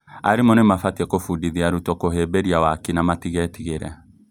Arimũ nĩmabatii kũbundithia arutwo kũhĩmbĩria waaki na matigetigĩre